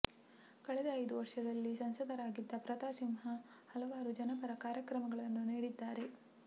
ಕಳೆದ ಐದು ವರ್ಷದಲ್ಲಿ ಸಂಸದರಾಗಿದ್ದ ಪ್ರತಾಪ್ ಸಿಂಹ ಹಲ ವಾರು ಜನಪರ ಕಾರ್ಯಕ್ರಮಗಳನ್ನು ನೀಡಿ ದ್ದಾರೆ